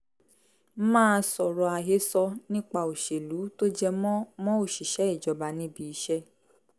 n máa sọ̀rọ̀ àhesọ nípa òṣèlú tó jẹ mọ́ mọ́ òṣìṣẹ́ ìjọba níbi iṣẹ́